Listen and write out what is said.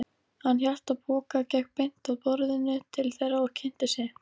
Hann hélt á poka, gekk beint að borðinu til þeirra og kynnti sig.